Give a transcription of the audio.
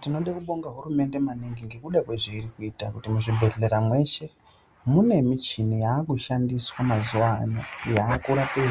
Tinode kubonga hurumende maningi ngekuda kwezveiri kuita kuti muzvibhedhlera mweshe mune michini yakushandiswa mazuwano yakurape